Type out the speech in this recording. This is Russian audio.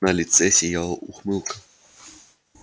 на лице сияла ухмылка